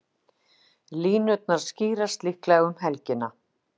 Línurnar skýrast líklega um helgina.